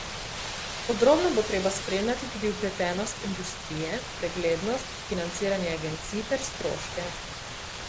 Podrobno bo treba spremljati tudi vpletenost industrije, preglednost, financiranje agencij ter stroške.